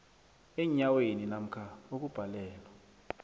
eenyaweni namkha ukubhalelwa